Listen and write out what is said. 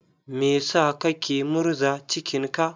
Me sa kake murza cikin ka?